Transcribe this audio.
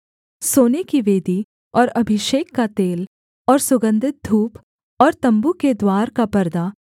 सोने की वेदी और अभिषेक का तेल और सुगन्धित धूप और तम्बू के द्वार का परदा